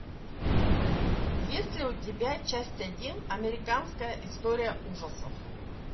есть ли у тебя часть один американская история ужасов